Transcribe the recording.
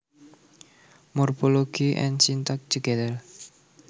Morphology and syntax together